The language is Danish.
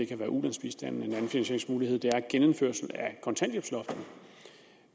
kan være ulandsbistanden og en anden finansieringsmulighed er genindførelsen af kontanthjælpsloftet